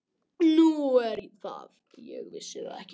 Nú er það, ég vissi það ekki.